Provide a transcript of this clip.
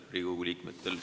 Riigikogu liikmetel teile ...